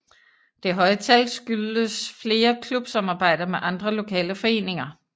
Det høje tal skyldes flere klubsamarbejder med andre lokale foreninger